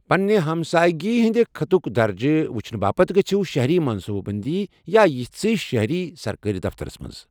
پنٛنہ ہمسایگی ہندِ خٕطک درجہٕ وُچھنہٕ باپتھ، گٔژِھو شہری منصوٗبہٕ بندی یا یِتھۍسٕے شہری سرکٲرۍ دفترس پیٹھ ۔